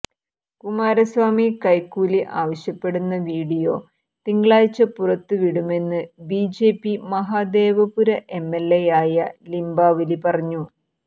കുമാരസ്വാമി കെെക്കൂലി ആവശ്യപ്പെടുന്ന വീഡിയോ തിങ്കളാഴ്ച പുറത്ത് വിടുമെന്ന് ബിജെപി മഹാദേവപുര എംഎല്എയായ ലിംബാവലി പറഞ്ഞു